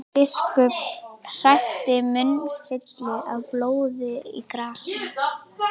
Biskup hrækti munnfylli af blóði í grasið.